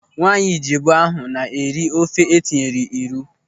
Nwaanyị Ijebu ahụ na-eri ofe etinyere ịrụ.